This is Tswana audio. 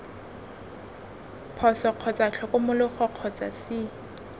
phoso kgotsa tlhokomologo kgotsa c